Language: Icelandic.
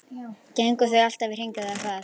Gengu þau alltaf í hring eða hvað?